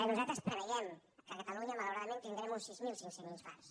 nosaltres preveiem que a catalunya malauradament tindrem uns sis mil sis cents infarts